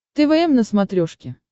твм на смотрешке